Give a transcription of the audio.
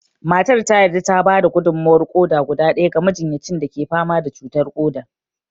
Matar ta yarda ta ba da gudummawar ƙoda guda ɗaya ga majinyacin da ke fama da cutar ƙoda